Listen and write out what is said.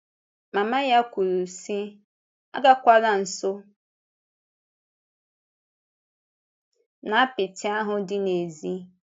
Mama ya kwùrù, sị: “Agakwàla nso n’apịtị ahụ dị n’èzí.”